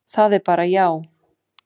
Það er bara já.